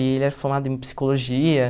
E ele era formado em psicologia.